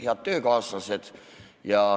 Head töökaaslased!